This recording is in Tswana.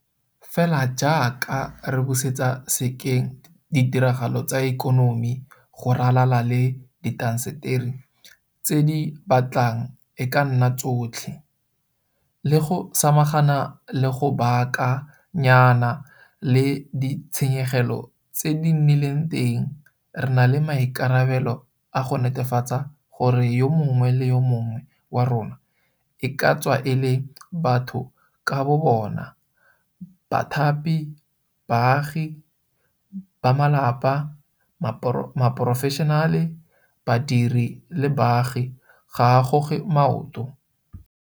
Fela jaaka re busetsa sekeng ditiragalo tsa ikonomi go ralala le diintaseteri tse di batlang e ka nna tsotlhe le go samagana le go baaka nyana le ditshenyegelo tse di nnileng teng re na le maikarabelo a go netefatsa gore yo mongwe le yo mongwe wa rona e ka tswa e le batho ka bo bona, bathapi, baagi, bamalapa, baporofeshenale, badiri le baagi ga a goge maoto.